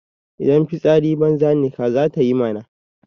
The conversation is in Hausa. Idan fitsari banza ne kaza ta yi mana.